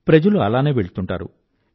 ప్రజలు అలానే వెళ్తూంటారు